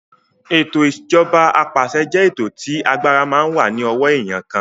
Ètò ìjọba apàṣẹ jẹ́ ètò tí agbára máa ń wà ní ọwọ́ èèyàn kan